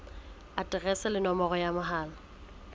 aterese le nomoro ya mohala